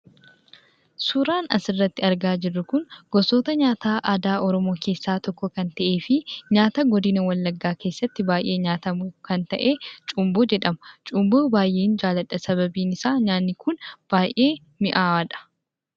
Suuraan asirratti argaa jirru kun gosoota nyaataa aadaa oromoo keessaa tokko kan ta'ee fi nyaata godina wallaggaa keessatti nyaata beekamaa ta'ee cumboo jedhama. Cumboo baay'een jaalladha sababiin isaa nyaanni kun baay'ee mi'aawaadha.